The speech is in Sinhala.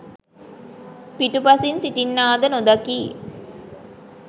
පිටුපසින් සිටින්නා ද නොදකියි.